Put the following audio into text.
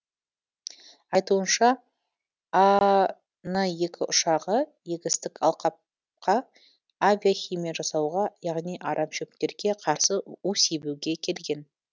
айтуынша а н ұшағы егістік алқап қа авиахимия жасауға яғни арамшөптерге қарсы у себуге келген